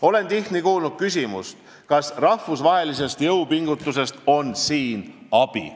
Olen tihti kuulnud küsimust, kas rahvusvahelistest jõupingutustest on siin abi.